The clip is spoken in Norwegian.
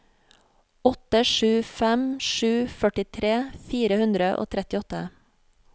åtte sju fem sju førtitre fire hundre og trettiåtte